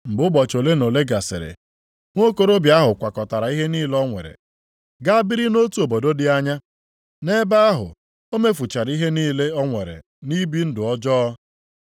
“Mgbe ụbọchị ole na ole gasịrị, nwokorobịa ahụ kwakọtara ihe niile o nwere gaa biri nʼotu obodo dị anya. Nʼebe ahụ, o mefuchara ihe niile o nwere nʼibi ndụ ọjọọ.